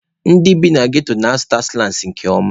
Ndị bi na ghetto na-asụta sụlangs nke ọma.